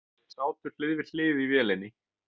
Þeir sátu hlið við hlið í vélinni.